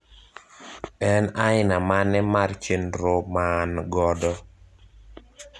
en aina mane mar chenro maan godo